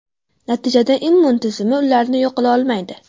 Natijada immun tizimi ularni yo‘q qila olmaydi.